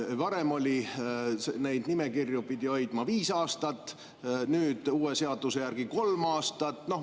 Varem pidi neid nimekirju hoidma viis aastat, uue seaduse järgi kolm aastat.